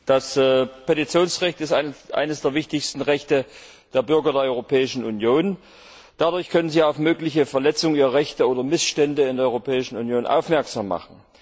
Herr Präsident! Das Petitionsrecht ist eines der wichtigsten Rechte der Bürger der Europäischen Union. Dadurch können sie auf mögliche Verletzungen ihrer Rechte oder Missstände in der Europäischen Union aufmerksam machen.